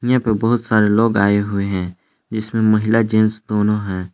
यहां पर बहुत सारे लोग आए हुए हैं जिसमें महिला जेंट्स दोनों हैं।